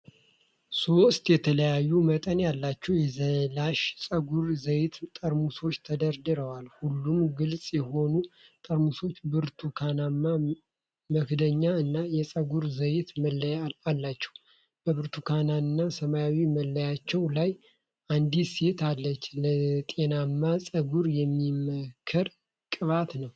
ሶስት የተለያየ መጠን ያላቸው የዛላሽ የፀጉር ዘይት ጠርሙሶች ተደርድረዋል። ሁሉም ግልጽ የሆኑ ጠርሙሶች ብርቱካናማ መክደኛ እና የፀጉር ዘይት መለያ አላቸው፤ በብርቱካንና ሰማያዊ መለያዎቹ ላይ አንዲት ሴት አለች፣ ለጤናማ ጸጉር የሚመከር ቅባት ነው።